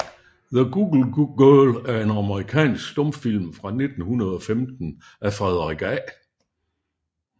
The Goose Girl er en amerikansk stumfilm fra 1915 af Frederick A